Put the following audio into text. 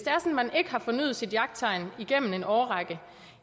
man ikke har fornyet sit jagttegn igennem en årrække